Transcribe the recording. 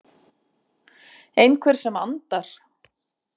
Einhver sem andar.